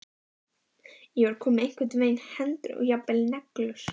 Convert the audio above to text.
Ég var komin með einhvern veginn hendur og jafnvel neglur.